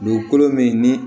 Dugukolo min ni